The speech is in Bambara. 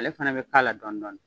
Ale fɛnɛ bɛ k'a la dɔɔnin dɔɔnin